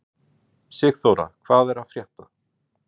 Sigþóra, hvað er að frétta?